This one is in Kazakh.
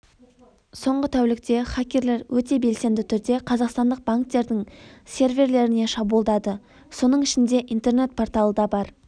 соңғы тәулікте хакерлер өте белсенді түрде қазақстандық банктердің серверлеріне шабуылдады соның ішінде интернет порталы да бар